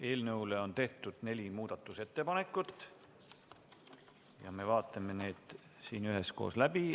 Eelnõu kohta on tehtud neli muudatusettepanekut ja me vaatame need siin üheskoos läbi.